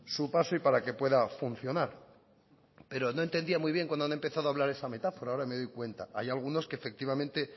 su paso y para que pueda funcionar pero no entendía muy bien cuando han empezado a hablar esa metáfora ahora me doy cuenta hay algunos que efectivamente